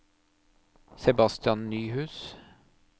Sebastian Nyhus